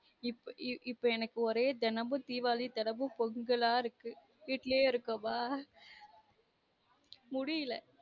இப் இப்ப எனக்கு ஒரே தினமும் தீவாளி தினமும் பொங்கலா இருக்கு வீட்டுலயே இருக்கோமா முடியுள